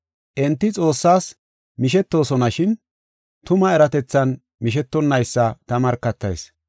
Enti Xoossaas mishetoosonashin, tuma eratethan mishetonnaysa ta markatayis.